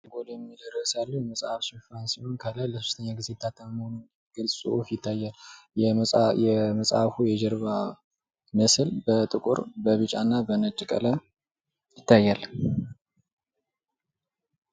ዛጎል የሚል እርዕስ ያለው የመጽሃፍ ሽፋን ሲሆን ከላይ ለ3ተኛ ጊዜ የታተመ መሆኑን የሚገልጽ ጽሁፍ ይታያል። የመጽሃፉ የጀርባ ምስል በጥቁር ፣ በቢጫ እና በ ነጭ ቀለም ይታያል።